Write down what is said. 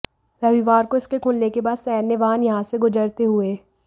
रविवार को इसके खुलने के बाद सैन्य वाहन यहां से गुजरते हुए